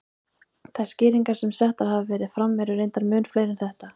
Þær skýringar sem settar hafa verið fram eru reyndar mun fleiri en þetta.